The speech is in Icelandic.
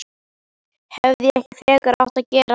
Hefði ég ekki frekar átt að gera það?